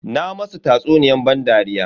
Na masu tsatsuniyar ban dariya.